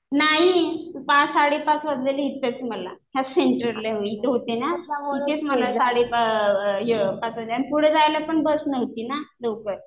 नाही पाच-साडे पाच वाजलेले इथंच मला. ह्या सेंटरला इथं होते ना. इथेच मला साडे पाच वाजले. आणि पुढे जायला पण बस नव्हती ना लवकर.